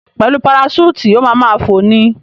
Pẹ̀lú paraṣúùtì, o ma ma fò ni.